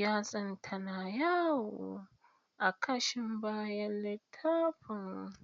yatsanta na yawo a kashin bayan littafin.